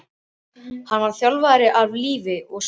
Hann var þjálfari af lífi og sál.